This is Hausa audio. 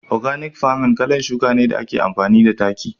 " organic farming' kalan shuki ne da ake amfani da taki.